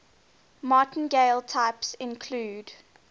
martingale types include